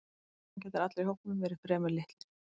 Raunar gætu allir í hópnum verið fremur litlir.